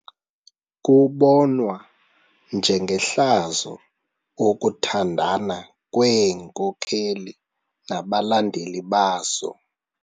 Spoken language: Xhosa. Kubonwa njengehlazo ukuthandana kweenkokeli nabalandeli bazo.